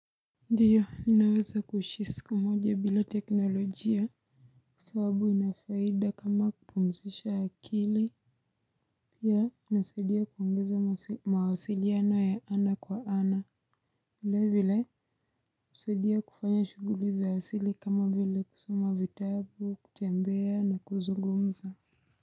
Ndiyo, ninaweza kuishi siku moja bila teknolojia. Sababu ina faida kama kupumzisha akili. Pia, inasadia kuongeza mawasiliano ya ana kwa ana. Vile vile, hisadia kufanya shughuli za asili kama vile kusoma vitabu, kutembea na kuzugumza.